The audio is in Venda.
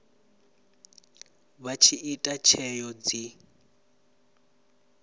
vha tshi ita tsheo dzi